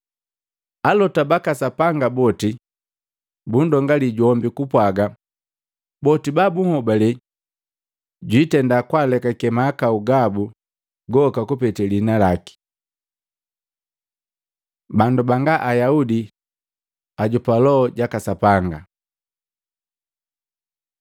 Alota baka Sapanga boti bundongali jombi kupwaga boti ba bunhobale jwitenda kundekake mahakau gaki goka kupete liina laki.” Bandu banga Ayaudi ajopa Loho jaka Sapanga